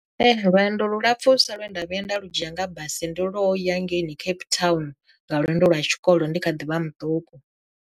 Lwendo lu lapfhusa lwe nda vhuya nda lu dzhia nga basi ndi lwo ya hangeini Cape Town nga lwendo lwa tshikolo ndi kha ḓivha muṱuku.